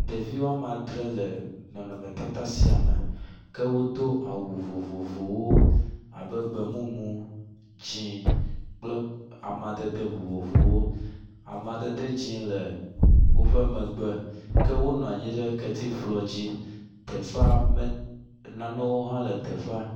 Ɖevi wome adre le nɔnɔmetata sia me ke wodo awu vovovowo abe gbemumu, dzi kple amadede vovovowo, amadede dzi le woƒe megbe ke wonɔ anyi ɖe ketifɔ dzi teƒe… ke nanewo le teƒea